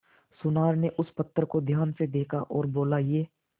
सुनार ने उस पत्थर को ध्यान से देखा और बोला ये